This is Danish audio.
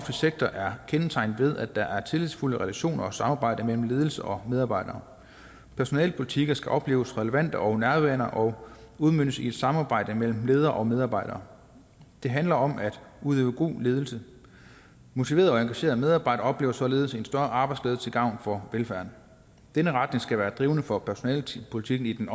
sektor er kendetegnet ved at der er tillidsfulde relationer og samarbejde mellem ledelse og medarbejdere personalepolitikker skal opleves relevante og nærværende og udmøntes i et samarbejde mellem ledere og medarbejdere det handler om at udøve god ledelse motiverede og engagerede medarbejdere oplever således en større arbejdsglæde til gavn for velfærden denne retning skal være drivende for personalepolitikken i den